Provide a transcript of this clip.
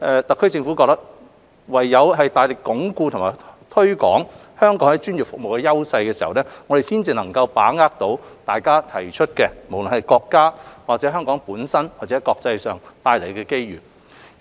特區政府認為唯有大力鞏固和推廣香港在專業服務的優勢，我們才能把握大家所提出的，無論在國家、香港或國際上的機遇。